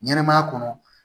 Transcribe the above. Ɲɛnɛmaya kɔnɔ